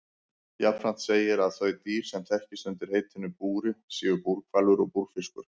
Jafnframt segir að þau dýr sem þekkist undir heitinu búri séu búrhvalur og búrfiskur.